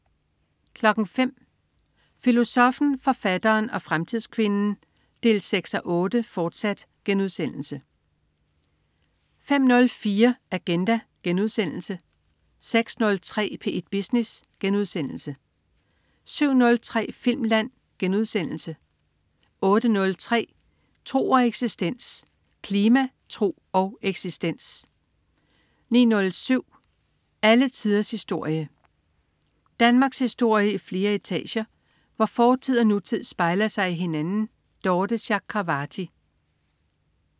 05.00 Filosoffen, forfatteren og fremtidskvinden 6:8, fortsat* 05.04 Agenda* 06.03 P1 Business* 07.03 Filmland* 08.03 Tro og eksistens. Klima, tro og eksistens 09.07 Alle tiders historie. Danmarkshistorie i flere etager, hvor fortid og nutid spejler sig i hinanden. Dorthe Chakravarty